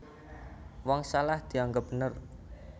Wong salah dianggep bener